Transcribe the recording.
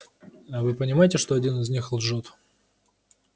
а вы понимаете что один из них лжёт